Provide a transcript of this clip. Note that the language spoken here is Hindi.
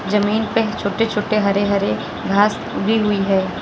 जमीन पे छोटे छोटे हरे हरे घास उगी हुई है।